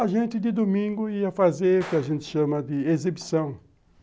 A gente, de domingo, ia fazer o que a gente chama de exibição.